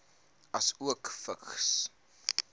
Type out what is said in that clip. asook vigs